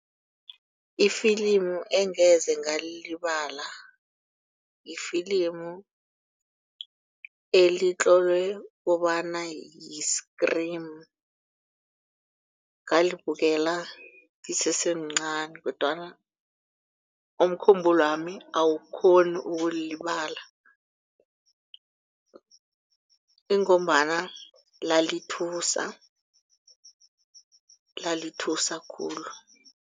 Ifilimu engeze ngalilibala lifilimu elitlolwe kobana yi-Scream ngalibukela ngisesemncani kodwana umkhumbulo wami awukghoni ukulilibala ingombana lalithusa lalithusa khulu.